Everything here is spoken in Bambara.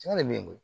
Caman bɛ n bolo